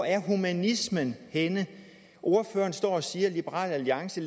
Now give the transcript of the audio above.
er humanismen henne ordføreren står og siger at liberal alliance